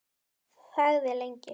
Þagði lengi.